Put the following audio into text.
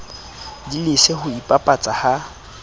di lese ho ipapatsa ha